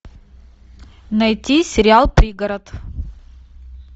найти сериал пригород